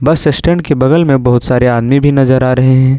Assistant के बगल में बहुत सारे आदमी भी नजर आ रहे हैं।